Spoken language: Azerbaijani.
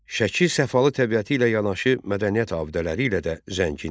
Şəki səfalı təbiəti ilə yanaşı, mədəniyyət abidələri ilə də zəngindir.